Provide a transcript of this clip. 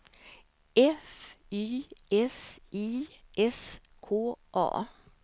F Y S I S K A